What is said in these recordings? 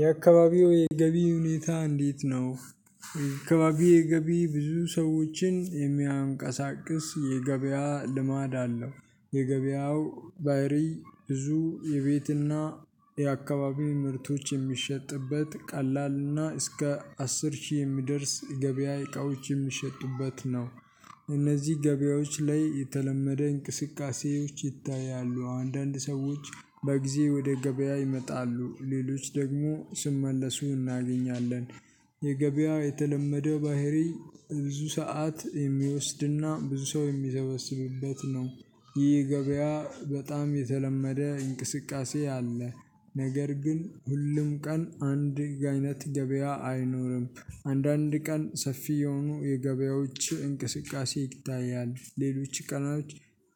የአካባቢው የገቢ ሁኔታ እንዴት ነው? አካባቢው የገቢ ብዙ ሰዎችን የሚያንቀሳቅስ የገበያ ልማድ አለው። የገበያው ባህሪ ብዙ የቤትና የአካባቢ ምርቶች የሚሸጥበት ቀላልና እስከ አስር ሺህ የሚደርስ ገበያ እቃዎች የሚሸጡበት ነው። እነዚህ ገበያዎች ላይ የተለመደ እንቅስቃሴዎች ይታያሉ አንዳንድ ሰዎች በጊዜ ወደ ገበያ ይመጣሉ ሌሎች ደግሞ ስመለሱ እናገኛለን። የገበያው የተለመደው ባህሪ ብዙ ሰዓት የሚወስድና ብዙ ሰው የሚሰበስብበት ነው። ይህ ገበያ በጣም የተለመደ እንቅስቃሴ አለ። ነገር ግን ሁሉም ቀን አንድ አይነት ገበያ አይኖርም። አንዳንድ ቀን ሰፊ የሆኑ የገበያዎች እንቅስቃሴ ይታያል ሌሎች ቀናቶች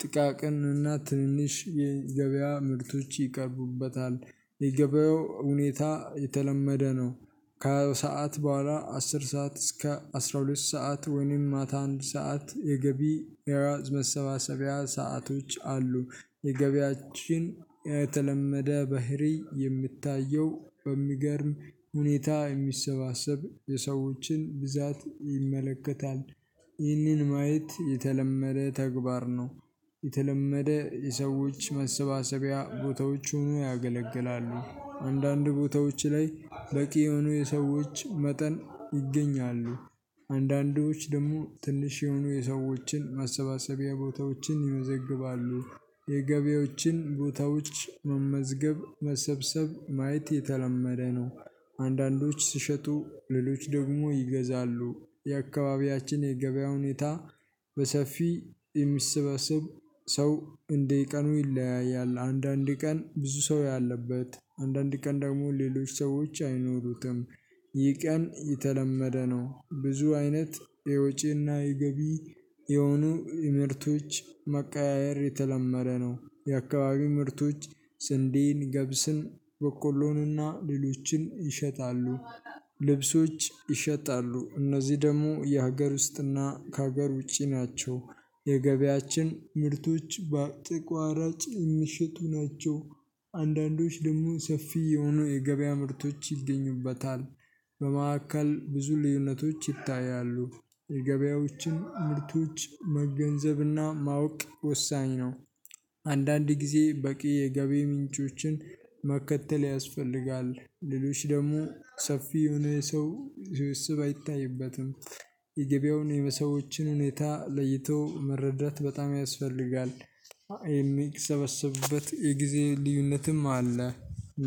ጥቃቅንና ትንሽ የገበያ ምርቶች ይቀርቡበታል። የገበያው ሁኔታ የተለመደ ነው። ከሰአት በኋላ አስር ሰዓት እስከ አስራ ሁለት ሰዓት ወይንም ማታ አንድ ሰዓት የገቢ መሰባሰቢያ ሰአቶች አሉ። የገቢያችን የተለመደ ባህሪ የምታየው በሚገርም ሁኔታ የሚሰባሰብ የሰዎችን ብዛት ይመለከታል ይህንን ማየት የተለመደ ተግባር ነው። የተለመደ የሰዎች መሰባሰቢያ ቦታዎች ሆኖ ያገለግላሉ አንዳንድ ቦታዎች ላይ በቂ የሆኑ የሰዎች መጠን ይገኛሉ። አንዳንዶች ደግሞ ትንሽ የሆኑ የሰዎችን ማሰባሰቢያ ቦታዎችን ይመዘግባሉ የገቢዎችን ቦታዎች መመዝገብ መሰብሰብ ማየት የተለመደ ነው። አንዳንዶች ስሸጡ ሌሎች ደግሞ ይገዛሉ የአካባቢያችን የገበያ ሁኔታ በሰፊ የምሰበሰብ ሰው እንዲህ ቀኑ ይለያያል አንዳንድ ቀን ብዙ ሰው ያለበት አንዳንድ ቀን ደግሞ ሌሎች ሰዎች አይኖሩትም። ይህ ቀን የተለመደ ነው ብዙ አይነት የወጪና የገቢ የሆኑ ምርቶች መቀያየር የተለመደ ነው። የአካባቢው ምርቶች ስንዴን ገብስን በቆሎንና ሌሎችን ይሸጣሉ። ልብሶች ይሸጣሉ እነዚህ ደግሞ የሀገር ውስጥና ከሀገር ውጪ ናቸው። የገበያችን ምርቶች በተቋራጭ የሚሸጡ ናቸው። አንዳንዶች ደግሞ ሰፊ የሆኑ የገበያ ምርቶች ይገኙበታል በመካከል ብዙ ልዩነቶች ይታያሉ። የገበያዎችን ምርቶች መገንዘብና ማወቅ ወሳኝ ነው። አንዳንድ ጊዜ በቂ የገበያ ምንጮችን መከተል ያስፈልጋል ሌሎች ደግሞ ሰፊ የሆነ ሰው ስብስብ አይታይበትም። የገበያውን የሰዎችን ሁኔታ ለይቶ መረዳት በጣም ያስፈልጋል። የሚሰበሰብበት የጊዜ ልዩነትም አለ።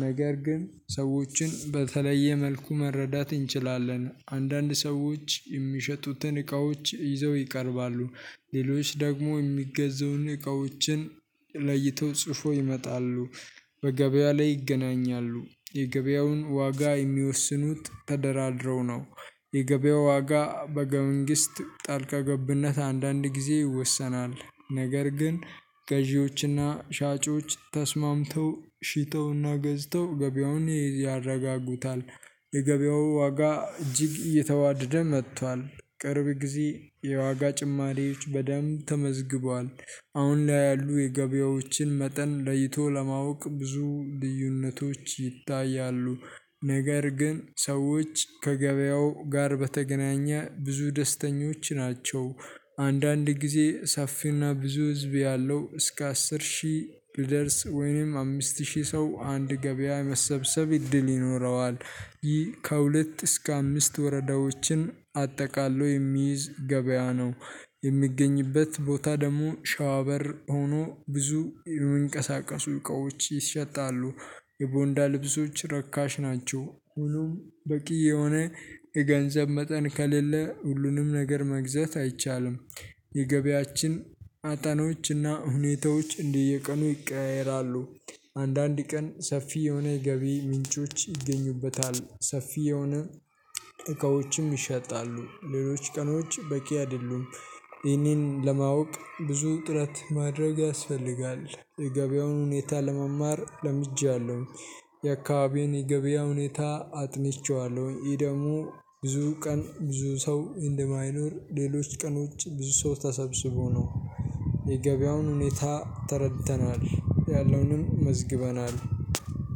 ነገር ግን ሰዎችን በተለየ መልኩ መረዳት እንችላለን አንዳንድ ሰዎች የሚሸጡትን እቃዎች ይዘው ይቀርባሉ። ሌሎች ደግሞ የሚገዘውን እቃዎችን ለይተው ጽፈው ይመጣሉ። በገበያ ላይ ይገናኛሉ የገበያውን ዋጋ የሚወስኑት ተደራድረው ነው። የገበያው ዋጋ በመንግስት ጣልቃ ገብነት አንዳንድ ጊዜ ይወሰናል። ነገር ግን ገዢዎችና ሻጮች ተስማምተው ሽጠውና ገዝተው ገበያውን ያረጋጉታል። የገበያው ዋጋ እጅግ እየተዋደደ መጥቷል ቅርብ ጊዜ የዋጋ ጭማሪዎች በደንብ ተመዝግቧል። አሁን ላይ ያሉ የገበያዎችን መጠን ለይቶ ለማወቅ ብዙ ልዩነቶች ይታያሉ። ነገር ግን ሰዎች ከገበያው ጋር በተገናኘ ብዙ ደስተኞች ናቸው። አንዳንድ ጊዜ ሰፊና ብዙ ህዝብ ያለው እስከ አስር ሺህ ብደርስ ወይንም አምስት ሺህ ሰው አንድ ገበያ መሰብሰብ እድል ይኖረዋል። ይህ ከሁለት እስከ አምስት ወረዳዎችን አጠቃሎ የሚይዝ ገበያ ነው። የሚገኝበት ቦታ ደግሞ ሸዋ በር ሆኖ ብዙ የሚንቀሳቀሱ እቃዎች ይሸጣሉ። የቦንዳ ልብሶች ረካሽ ናቸው ሁሉም በቂ የሆነ የገንዘብ መጠን ከሌለ ሁሉንም ነገር መግዛት አይቻልም። የገቢያችን አጠኖችና ሁኔታዎች እንደየ ቀኑ ይቀያየራሉ። አንዳንድ ቀን ሰፊ የሆነ ገቢ ምንጮች ይገኙበታል ሰፊ የሆነ እቃዎችም ይሸጣሉ ሌሎች ቀኖች በቂ አይደሉም። ይህንን ለማወቅ ብዙ ጥረት ማድረግ ያስፈልጋል። የገበያውን ሁኔታ ለመማር ለምጃለሁ። የአካባቢዬን የገበያ ሁኔታ አጥንቼዋለሁ ይሄ ደግሞ ብዙ ቀን ብዙ ሰው እንደማይኖር ሌሎች ቀኖች ብዙ ሰው ተሰብስቦ ነው። የገበያውን ሁኔታ ተረድተናል ያለውንም መዝግበናል።